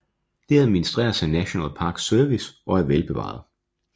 Det administreres af National Park Service og er velbevaret